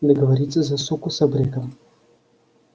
договориться за суку с абреком